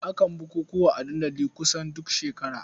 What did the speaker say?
Akan bukukuwa a dandali kusan duk shekara.